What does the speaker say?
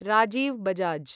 Rajiv Bajaj